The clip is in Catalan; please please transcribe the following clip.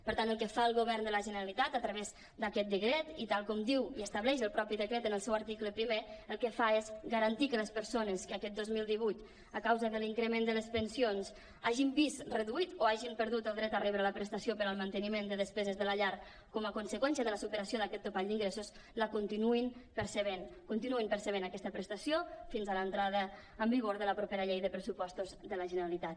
per tant el que fa el govern de la generalitat a través d’a·quest decret i tal com diu i estableix el mateix decret en el seu article primer el que fa és garantir que les persones que aquest dos mil divuit a causa de l’increment de les pen·sions hagin vist reduït o hagin perdut el dret a rebre la prestació per al manteniment de despeses de la llar com a conseqüència de la superació d’aquest topall d’ingres·sos la continuïn percebent continuïn percebent aquesta prestació fins a l’entrada en vigor de la propera llei de pressupostos de la generalitat